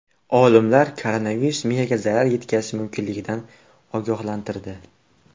Olimlar koronavirus miyaga zarar yetkazishi mumkinligidan ogohlantirdi.